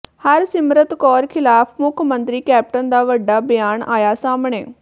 ਹਰਸਿਮਰਤ ਕੌਰ ਖ਼ਿਲਾਫ਼ ਮੁੱਖ ਮੰਤਰੀ ਕੈਪਟਨ ਦਾ ਵੱਡਾ ਬਿਆਨ ਆਇਆ ਸਾਹਮਣੇ